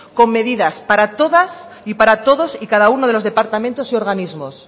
con medidas para todas y para todos y cada uno de los departamentos y organismos